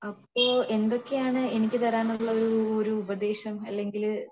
അപ്പൊ എന്തൊക്കെയാണ് എനിക്ക് താരം ഉള്ള ഒരു ഉപദേശം അല്ലെങ്കിൽ